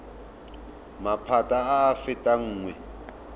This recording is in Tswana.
maphata a a fetang nngwe